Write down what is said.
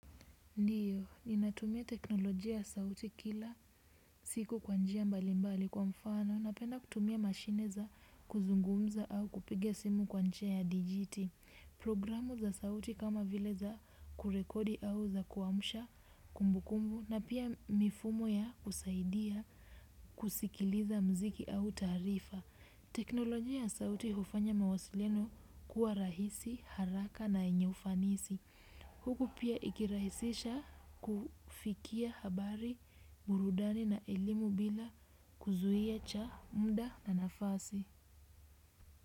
Ndiyo, ninatumia teknolojia ya sauti kila siku kwa njia mbalimbali, kwa mfano napenda kutumia mashine za kuzungumza au kupiga simu kwa njia ya dijiti. Programu za sauti kama vile za kurekodi au za kuamsha kumbukumbu, na pia mifumo ya kusaidia kusikiliza muziki au taarifa. Teknolojia ya sauti hufanya mawasiliano kuwa rahisi, haraka na yenye ufanisi. Huku pia ikirahisisha kufikia habari, burudani na elimu bila kuzuia cha muda na nafasi.